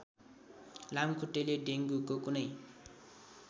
लामखुट्टेले डेङ्गुको कुनै